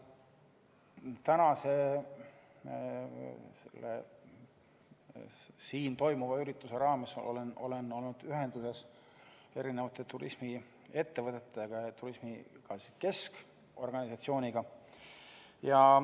Täna siin toimuva arutelu raames olen olnud ühenduses erinevate turismiettevõtete ja ka keskorganisatsiooniga.